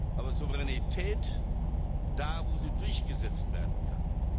Aber Souveränität da, wo sie durchgesetzt werden kann.